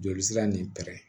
Joli sira nin pɛrɛn